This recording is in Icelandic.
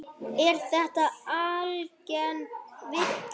Er þetta algeng villa.